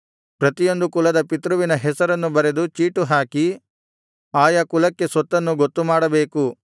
ಪ್ರತಿಯೊಂದು ಕುಲದ ಪಿತೃವಿನ ಹೆಸರನ್ನು ಬರೆದು ಚೀಟುಹಾಕಿ ಆಯಾ ಕುಲಕ್ಕೆ ಸ್ವತ್ತನ್ನು ಗೊತ್ತು ಮಾಡಬೇಕು